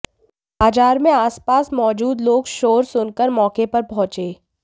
बाजार में आसपास मौजूद लोग शोर सुनकर मौके पर पहुंचे